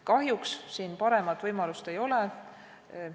Kahjuks siin paremat võimalust ei ole.